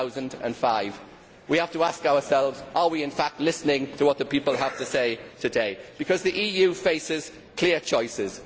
2005. We have to ask ourselves whether we are in fact listening to what the people have to say today, because the EU faces clear choices.